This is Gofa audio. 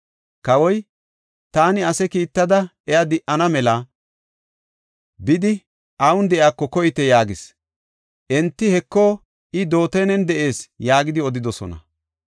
Kawoy, “Taani ase kiittada iya di7ana mela bidi awun de7iyako koyite” yaagis. Enti, “Heko, I, Dootanen de7ees” yaagidi odidosona.